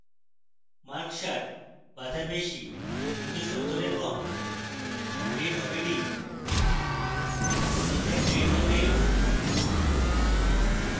mark 60 be তার বেশী কিন্তু 70 এর কম grade হবে d